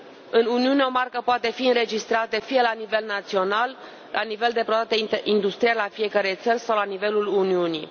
În Uniune, o marcă poate fi înregistrată fie la nivel național, la nivel de proprietate industrială a fiecărei țări sau la nivelul Uniunii.